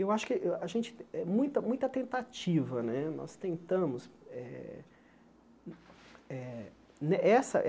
Eu acho que eh a gente eh, muita muita tentativa né, nós tentamos eh eh. Ne essa